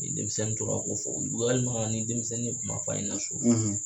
Ni denmisɛnnin tora k'o fɔ walima ni denmisɛnnin kuma f'a ɲɛna so.